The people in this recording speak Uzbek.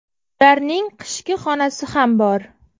Ularning qishki xonasi ham bor.